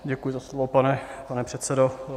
Děkuji za slovo, pane předsedo.